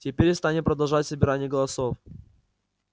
теперь станем продолжать собирание голосов